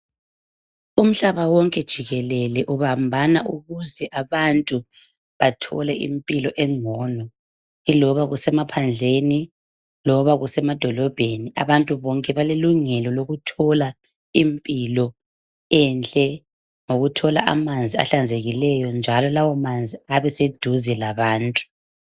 Umhlaba wonke jikelele ubambana ukuze abantu bathole impilo engcono iloba kusemaphandleni loba kusemadolobheni. Abantu bonke balelungelo lokuthola impilo enhle ngokuthola amanzi ahlanzekileyo njalo lawomanzi abeseduze labantu